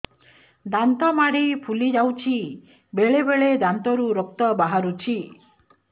ଦାନ୍ତ ମାଢ଼ି ଫୁଲି ଯାଉଛି ବେଳେବେଳେ ଦାନ୍ତରୁ ରକ୍ତ ବାହାରୁଛି